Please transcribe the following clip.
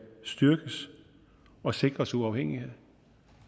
styrkes og sikres uafhængighed